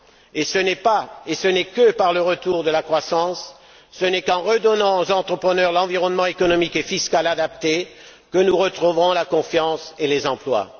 Et ce n'est que par le retour de la croissance, ce n'est qu'en redonnant aux entrepreneurs l'environnement économique et fiscal adapté que nous retrouverons la confiance et les emplois.